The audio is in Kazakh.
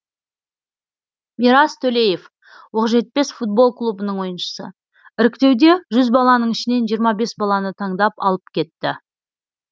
мирас төлеев оқжетпес футбол клубының ойыншысы іріктеуде жүз баланың ішінен жиырма бес баланы таңдап алып кетті